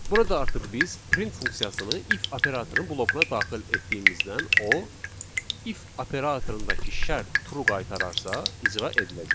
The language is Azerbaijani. Burada artıq biz print funksiyasını if operatorunun blokuna daxil etdiyimizdən o if operatorundakı şərt true qaytararsa, icra ediləcək.